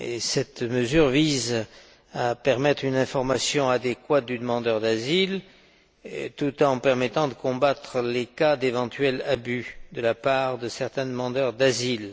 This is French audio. Cette mesure vise à permettre une information adéquate du demandeur d'asile tout en permettant de combattre les cas d'éventuels abus de la part de certains demandeurs d'asile.